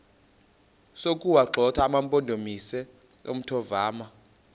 sokuwagxotha amampondomise omthonvama